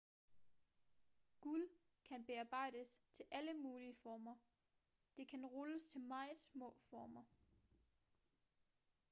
guld kan bearbejdes til alle mulige former det kan rulles til meget små former